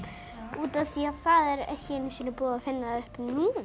út af því að er ekki búið að finna upp núna